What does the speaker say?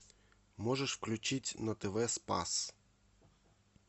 можешь включить на тв спас